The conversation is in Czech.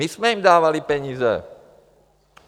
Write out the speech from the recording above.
My jsme jim dávali peníze.